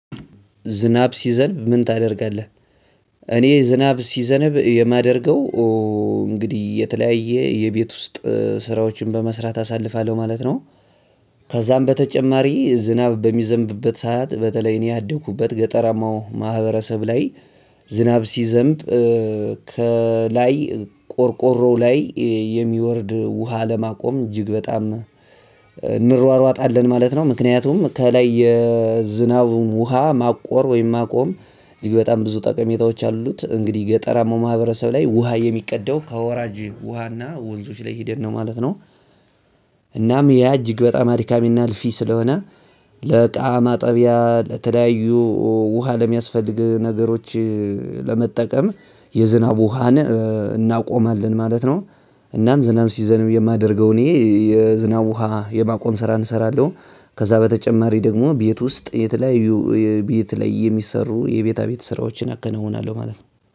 ዝናብ ሲዘነብ ምን ታደርጋለህ? እኔ ዝናብ ሲዘነብ የማደርገው እንግዲህ የተለያየ የቤት ውስጥ ስራዎችን በመስራት አሳልፋለሁ ማለት ነው። ከዛም በተጨማሪ ዝናብ በሚዘንብበት ሰዓት በተለይ እኔ ያደኩበት ገጠራማው ማህበረሰብ ላይ ዝናብ ሲዘንብ ከላይ ቆርቆሮ ላይ የሚወርድ ውሃ ለማቆም እጅግ በጣም እንሯሯጣለን ማለት ነው ምክንያቱም ከላይ የዝናቡን ውሃ ማቆር ወይም ማቆም እጅግ በጣም ብዙ ጠቀሜታዎች አሉት እንግዲህ ገጠራማው ማህበረሰብ ላይ ውሃ የሚቀደው ከወራጅ ውሃና ወንዞች ላይ ሄደን ነው ማለት ነው። እናም ያ እጅግ በጣም አድካሚና አልፊ ስለሆነ ለእቃ ማጠቢያ ለተለያዩ ውሃ ለሚያስፈልግ ነገሮች ለመጠቀም የዝናብ ውሃን እናቆማለን ማለት ነው። እናም ዝናብ ሲዘንም የማደርገው እኔ የዝናብ ውሃ የማቆም ስራ እንሰራለሁ ከዛ በተጨማሪ ደግሞ ቤት ውስጥ የተለያዩ ቤት ላይ የሚሰሩ የቤታ ቤት ስራዎችን አከናውናለሁ ማለት ነው